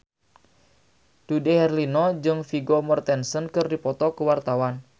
Dude Herlino jeung Vigo Mortensen keur dipoto ku wartawan